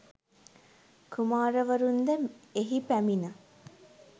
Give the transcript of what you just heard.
කුමාරවරුන්ද එහි පැමිණ